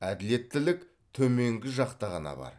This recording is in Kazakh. әділеттілік төменгі жақта ғана бар